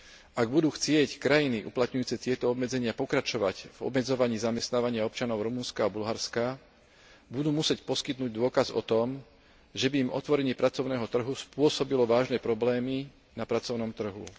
Ak budú chcieť krajiny uplatňujúce tieto obmedzenia pokračovať v obmedzovaní zamestnávania občanov Rumunska a Bulharska, budú musieť poskytnúť dôkaz o tom, že by im otvorenie pracovného trhu spôsobilo vážne problémy na pracovnom trhu.